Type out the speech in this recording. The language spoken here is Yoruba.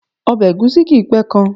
Ọbẹ̀ ègúsí kìí pé ka